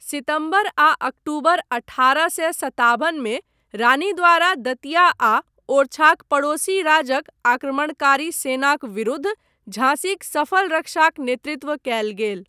सितम्बर आ अक्टूबर अठारह सए सताबन मे रानी द्वारा दतिया आ ओरछाक पड़ोसी राजक आक्रमणकारी सेनाक विरुद्ध झाँसीक सफल रक्षाक नेतृत्व कयल गेल।